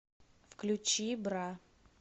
включи бра